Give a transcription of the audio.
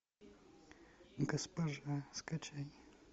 госпожа скачай